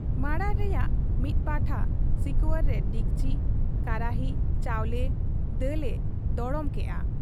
ᱢᱟᱨᱟᱬ ᱨᱮᱭᱟᱜ ᱢᱤᱫ ᱯᱟᱦᱴᱟ ᱥᱤᱠᱩᱣᱟᱹᱨ ᱨᱮ ᱰᱤᱯᱪᱤ, ᱠᱟᱹᱨᱟᱹᱦᱤ, ᱪᱟᱣᱞᱮ, ᱫᱟᱹᱞ ᱮ ᱫᱚᱲᱚᱢ ᱠᱮᱜ ᱟ ᱾